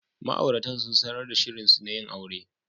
Ma'auratan sun sanar da shirinsu na yin aure.